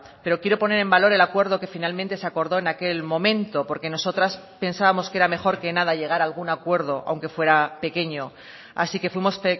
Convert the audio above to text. pero quiero poner en valor el acuerdo que finalmente se acordó en aquel momento porque nosotras pensábamos que era mejor que nada llegar a algún acuerdo aunque fuera pequeño así que fuimos